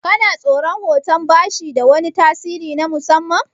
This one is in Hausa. Kana tsoran hoton bashi da wani tasiri na musamman?